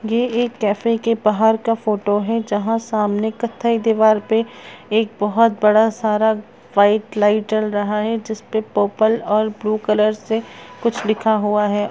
ये एक कैफ़े के बाहर का फोटो है जहां सामने कत्थई दिवार पे एक बहुत बड़ा सारा वाइट लाइट जल रहा है जिसपे पर्पल और ब्लू कलर से कुछ लिखा हुआ है।